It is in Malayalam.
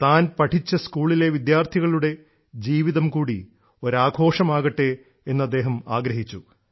താൻ പഠിച്ച സ്കൂളിലെ വിദ്യാർത്ഥികളുടെ ജീവിതംകൂടി ഒരാഘോഷമാകട്ടെ എന്നു അദ്ദേഹം ആഗ്രഹിച്ചു